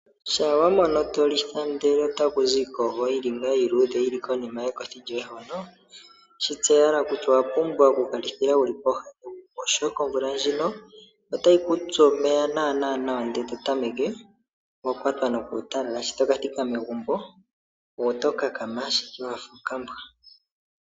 Shampa wa mono to litha, ihe otaku zi iikogo iiluudhe yi li konima yekothi lyoye hono shi tseya owala kutya owa pumbwa oku ka litha wu li pooha dhegumbo, oshoka omvula ndjono otayi ku tsu omeya nawanawa ndele e to tameke wa kwatwa nokuutalala, shi to ka thika megumbo oto kakama ashike wa fa okambwa.